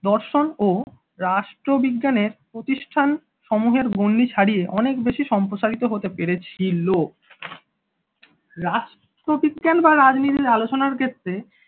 দর্শন ও রাষ্ট্রবিজ্ঞানের প্রতিষ্ঠান সমূহের গণ্ডি ছাড়িয়ে অনেক বেশি সম্প্রসারিত হতে পেরেছিল। রাষ্ট্রবিজ্ঞান বা রাজনীতির আলোচনার ক্ষেত্রে